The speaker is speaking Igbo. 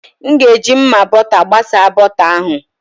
M ga-eji mma bọta gbasa bọta ahụ.